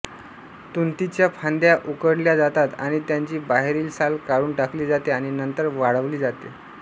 तुतीच्या फांद्या उकडल्या जातात आणि त्यांची बाहेरील साल काढून टाकली जाते आणि नंतर वाळवली जाते